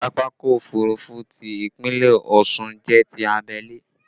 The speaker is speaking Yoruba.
Pápákọ̀ òfurufú ti Ìpínlẹ̀ Ọ̀ṣun jẹ́ ti abẹ́lé